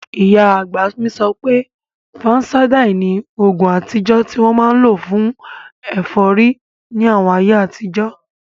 Ìyá àgbà mi sọ pé, fansáídà ni oògùn àtijọ́ tí wọ́n máa n lò fún ẹ̀fọ́rí ní àwọn ayé àtijọ́